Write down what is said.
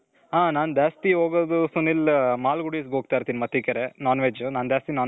ಹಾ ನಾನು ಜಾಸ್ತಿ ಹೋಗೋದು ಸುನಿಲ್ ಮಾಲ್ಗುಡಿಸ್ ಹೋಗ್ತಿರ್ತಿನಿ ಮತ್ತಿಕೆರೆ non-veg ನಾನು ಜಾಸ್ತಿ non-veg ತಿನ್ತಿರ್ತಿನಿ